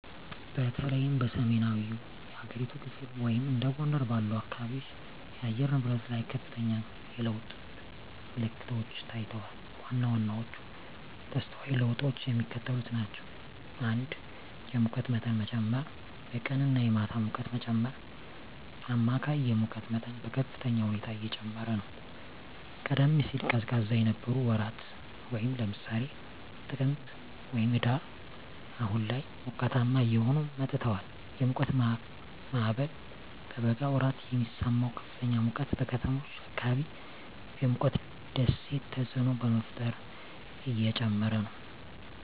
በተለይም በሰሜናዊው የሀገሪቱ ክፍል (እንደ ጎንደር ባሉ አካባቢዎች) የአየር ንብረት ላይ ከፍተኛ የለውጥ ምልክቶች ታይተዋል። ዋና ዋናዎቹ ተስተዋይ ለውጦች የሚከተሉት ናቸው። 1. የሙቀት መጠን መጨመር -የቀንና የማታ ሙቀት መጨመር: አማካይ የሙቀት መጠን በከፍተኛ ሁኔታ እየጨመረ ነው። ቀደም ሲል ቀዝቃዛ የነበሩ ወራት (ለምሳሌ ጥቅምት/ህዳር) አሁን ላይ ሞቃታማ እየሆኑ መጥተዋል። የሙቀት ማዕበል: በበጋ ወራት የሚሰማው ከፍተኛ ሙቀት በከተሞች አካባቢ የሙቀት ደሴት ተፅዕኖ በመፍጠር እየጨመረ ነው።